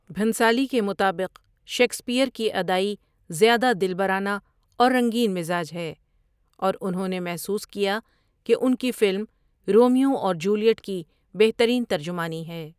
بھنسالی کے مطابق، 'شیکسپیئر کی ادائی زیادہ دلبرانہ اور رنگین مزاج ہے' اور انہوں نے محسوس کیا کہ ان کی فلم رومیو اور جولیٹ کی بہترین ترجمانی ہے۔